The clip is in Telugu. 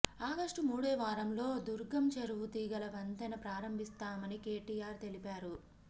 ఆగస్టు మూడో వారంలో దుర్గం చెరువు తీగల వంతెన ప్రారంభిస్తామని కేటీఆర్ తెలిపారు